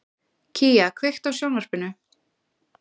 Kía, kveiktu á sjónvarpinu.